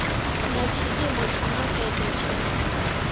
na tshiimo tsha makete tsha